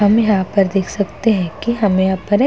हम यहाँ पर देख सकते हैं कि हमें यहाँ पर एक --